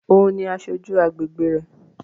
Ó òun ni aṣojú agbègbe rẹ̀